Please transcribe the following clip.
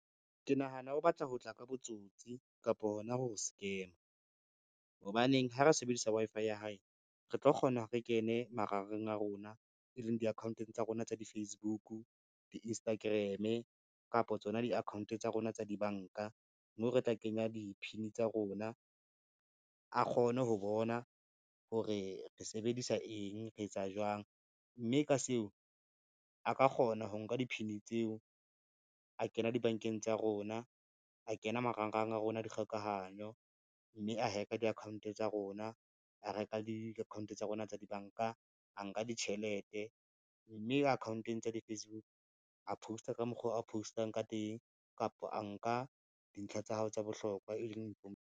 Ke nahana o batla ho tla ka botsotsi kapo hona ho scam-a. Hobaneng ha re sebedisa Wi-Fi ya hae re tlo kgona re kene marangrang a rona, e leng di-account tsa rona tsa di-Facebook, di-Instagram kapo tsona di-account tsa rona tsa dibanka moo re tla kenya di-PIN tsa rona, a kgone ho bona hore re sebedisa eng, re etsa jwang, mme ka seo a ka kgona ho nka di-PIN tseo, a kena dibankeng tsa rona, a kena marangrang a rona a dikgokahanyo, mme a hack-a di-account tsa rona, a reka le di-account tsa rona tsa dibanka, a nka ditjhelete. Mme akhaonteng tsa di-Facebook, a post-a ka mokgo a post-ang ka teng, kapa a nka dintlha tsa hao tsa bohlokwa e leng .